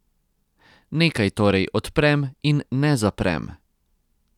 Nekaj torej odprem in ne zaprem.